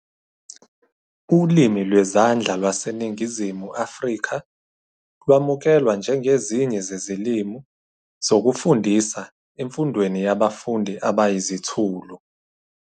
Ulimi Lwezandla LwaseNingizimu Afrika lwamukelwa njengezinye zezilimi zokufundisa emfundweni yabafundi abayizithulu.